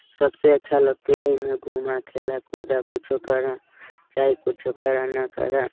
सबसे अच्छा लगती है ही में घुमा खेला-कूदा कुछो करअ चाहे कुछो करअ ना करअ।